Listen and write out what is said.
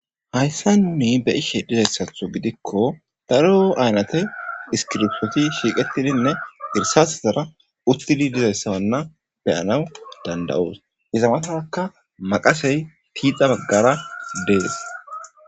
hayssanni be'ishe dizayssatho gidikko daro aynate iskiropsoti shiiqettidinne irsasozara uttidi dizayssananna beyanaw danda7us izamataka maqasey tiixa baggara dees